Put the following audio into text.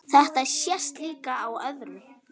Þetta sést líka á öðru.